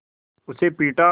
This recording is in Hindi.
उसे पीटा